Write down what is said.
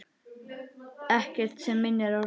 Ekkert sem minnir á Rósu.